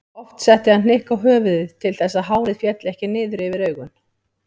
Oft setti hann hnykk á höfuðið til þess að hárið félli ekki niður yfir augun.